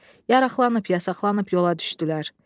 Yaraqlanıb yasaqlanıb yola düşdülər.